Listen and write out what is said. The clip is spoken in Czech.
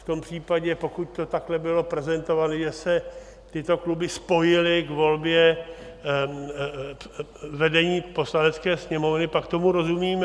V tom případě, pokud to takhle bylo prezentované, že se tyto kluby spojily k volbě vedení Poslanecké sněmovny, pak tomu rozumím.